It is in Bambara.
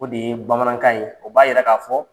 O de ye bamanankan ye. O b'a yira k'a fɔ